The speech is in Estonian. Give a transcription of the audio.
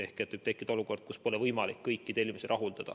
Ehk võib tekkida olukord, kus pole võimalik kõiki tellimusi täita.